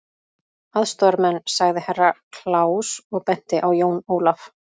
Aðstoðarmenn, sagði Herra Kláus og benti á Jón Ólaf.